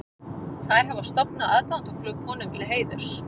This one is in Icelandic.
Þær hafa stofnað aðdáendaklúbb honum til heiðurs.